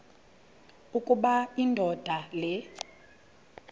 ukuba indoda le